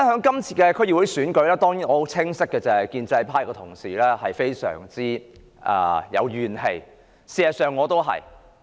這次區議會選舉中，建制派同事固然有怨氣，事實上我亦一樣。